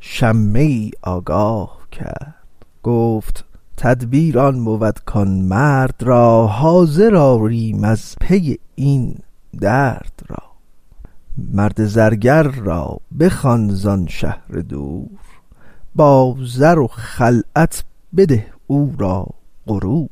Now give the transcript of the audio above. شمه ای آگاه کرد گفت تدبیر آن بود کان مرد را حاضر آریم از پی این درد را مرد زرگر را بخوان زان شهر دور با زر و خلعت بده او را غرور